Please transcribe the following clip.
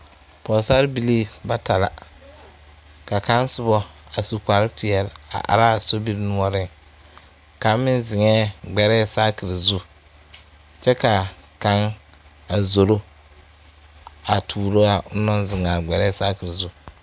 Pɔɔsarebilii bata la ka kaŋ sobɔ a su kparepeɛle a araa sobire noɔreŋ kaŋ meŋ zeŋɛɛ gbɛrɛɛ saakire zu kyɛ kaa kaŋ a zoro a tuuroo a onɔŋ naŋ zeŋaa gbɛrɛɛ saakire zu.